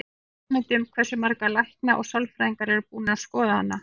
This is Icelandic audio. Hefurðu hugmynd um hversu margir læknar og sérfræðingar eru búnir að skoða hana?